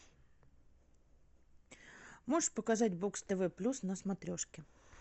можешь показать бокс тв плюс на смотрешке